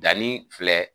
Danni filɛ